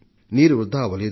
నీరు వృధా అవలేదు